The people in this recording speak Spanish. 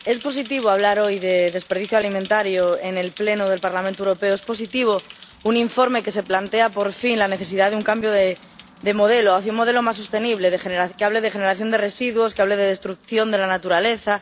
Señor presidente, es positivo hablar hoy de desperdicio alimentario en el Pleno del Parlamento Europeo es positivo un informe que se plantea, por fin, la necesidad de un cambio de modelo hacia un modelo más sostenible que hable de generación de residuos, que hable de destrucción de la naturaleza.